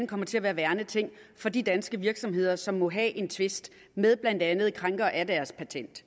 kommer til at være værneting for de danske virksomheder som må have en tvist med blandt andet krænkere af deres patent